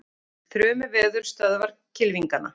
Þrumuveður stöðvar kylfingana